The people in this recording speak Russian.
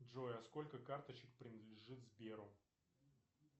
джой а сколько карточек принадлежит сберу